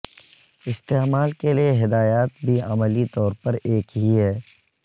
استعمال کے لئے ہدایات بھی عملی طور پر ایک ہی ہے